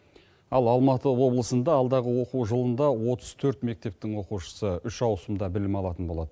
ал алматы облысында алдағы оқу жылында отыз төрт мектептің оқушысы үш ауысымда білім алатын болады